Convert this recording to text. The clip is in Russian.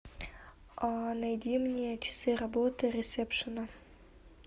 найди мне часы работы ресепшена